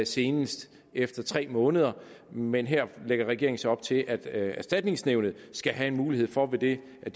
senest efter tre måneder men her lægger regeringen så op til at erstatningsnævnet skal have en mulighed for ved at